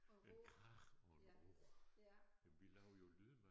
En krage og en råge jamen vi laver jo lyde med